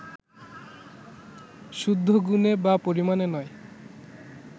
শুদ্ধ গুণে বা পরিমাণে নয়